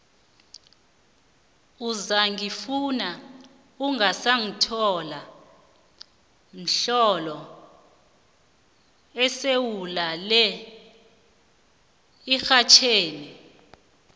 uzangifuna ungasangithola mdlolo esiwulalela emxhatjhweni